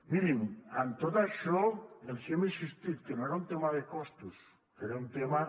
mirin en tot això els hem insistit que no era un tema de costos que era un tema